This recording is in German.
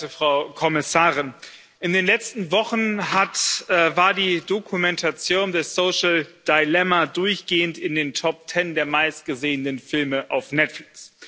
Sehr geehrte Frau Kommissarin, in den letzten Wochen war die Dokumentation The social dilemma durchgehend in den Top Ten der meistgesehenen Filme auf Netflix.